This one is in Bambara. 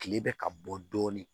Kile bɛ ka bɔ dɔɔnin